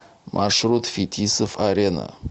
маршрут фетисов арена